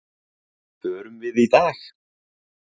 Förum við í dag?